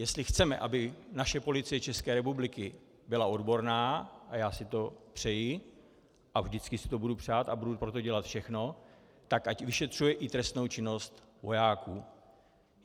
Jestli chceme, aby naše Policie České republiky byla odborná, a já si to přeji a vždycky si to budu přát a budu pro to dělat všechno, tak ať vyšetřuje i trestnou činnost vojáků.